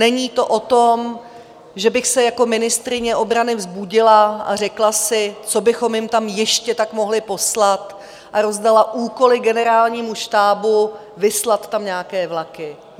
Není to o tom, že bych se jako ministryně obrany vzbudila a řekla si: Co bychom jim tam ještě tak mohli poslat, a rozdala úkoly generálnímu štábu vyslat tam nějaké vlaky.